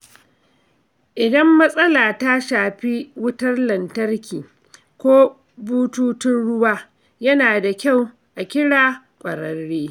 Idan matsala ta shafi wutar lantarki ko bututun ruwa, yana da kyau a ƙira ƙwararre.